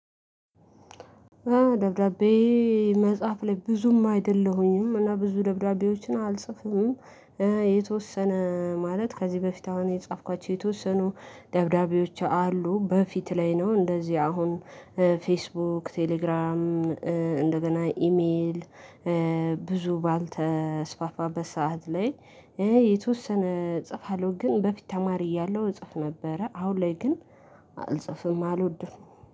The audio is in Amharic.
ደብዳቤ መጻፍ ላይ ብዙም አይደለሁኝም። እና ብዙ ደብዳቤዎችን አልጽፍም። የተወሰነ ማለት ከዚህ በፊት አሁን የጻፍኳቸው የተወሰኑ ደብዳቤዎች አሉ። በፊት ላይ ነው እንደዚህ አሁን ፌስቡ፣ ቴሌግራም፣ እንደገና ኢሜል ብዙ ባልተስፋፋበት ሰዓት ላይ የተወሰነ እጽፋለሁ። ግን በፊት ተማሪ እያለሁ እጽፍ ነበረ። አሁን ላይ ግን አልጽፍም አልወድም።